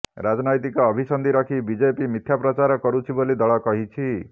ରାଜନ୘ତିକ ଅଭିସନ୍ଧି ରଖି ବିଜେପି ମିଥ୍ୟା ପ୍ରଚାର କରୁଛି ବୋଲି ଦଳ କହିଛି